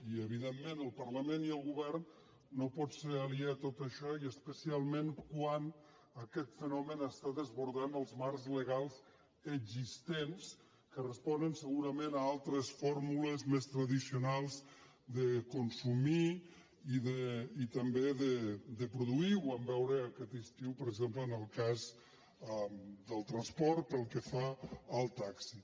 i evidentment el parlament i el govern no pot ser aliè a tot això i especialment quan aquest fenomen està desbordant els marcs legals existents que responen segurament a altres fórmules més tradicionals de consumir i també de produir ho vam veure aquest estiu per exemple en el cas del transport pel que fa al taxi